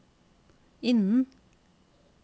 innen